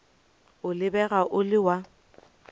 o lebega o le wa